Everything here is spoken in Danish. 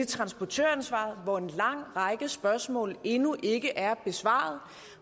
transportøransvaret hvor en lang række spørgsmål endnu ikke er besvaret